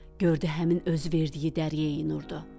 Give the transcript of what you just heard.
Gördü həmin özü verdiyi Dəryəyi Nurdu.